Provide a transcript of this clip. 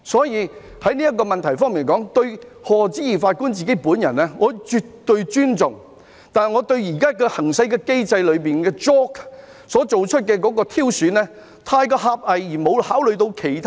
因此，在這問題上，對於賀知義法官本人，我絕對尊重，但我認為現行機制中推薦委員會所作出的挑選過於狹隘，並且沒有考慮其他國家。